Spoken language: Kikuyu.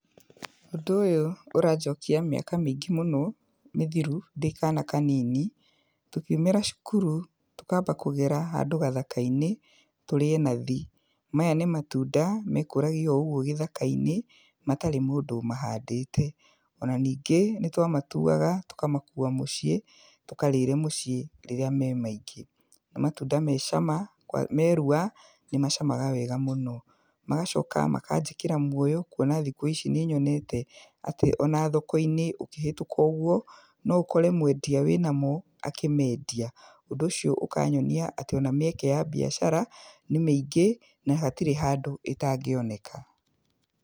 Ũndũ ũyũ ũranjokia mĩaka mĩingĩ mũno mĩthiru ndĩ kaana kanini, tũkiumira cukuru tũkamba kũgera handũ gathaka-inĩ tũrĩe nathi. Maya nĩ matunda mekũragia oũgwo gĩthaka-inĩ matarĩ mũndũ ũmahandĩte. Ona ningĩ nĩtwamatuaga tũkamakua mũciĩ, tũkarĩre mũciĩ rĩrĩa me maingĩ. Nĩ matunda me cama kwa, merua nĩ macamaga wega mũno. Magacoka makanjĩkĩra muoyo kwona thikũ ici nĩnyonete atĩ ona thoko-inĩ ũkĩhĩtũka ũgwo, no ũkore mwendia wĩnamo akĩmendia. Ũndũ ũcio ũkanyonia atĩ ona mĩeke ya biacara nĩ mĩingĩ na hatirĩ handũ ĩtangĩoneka.